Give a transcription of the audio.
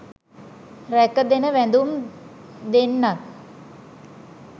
රැක ගෙන වැදුම් දෙන්නත්